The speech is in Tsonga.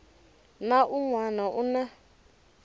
na un wana u na